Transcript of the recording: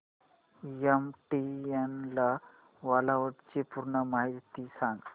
MTNL cloud ची पूर्ण माहिती सांग